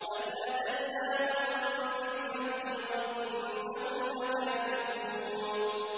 بَلْ أَتَيْنَاهُم بِالْحَقِّ وَإِنَّهُمْ لَكَاذِبُونَ